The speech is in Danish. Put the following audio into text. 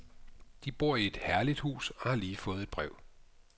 De bor i et herligt hus og har lige fået et brev.